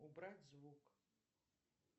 убрать звук